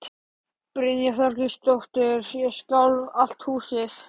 Brynja Þorgeirsdóttir: Og skalf allt húsið?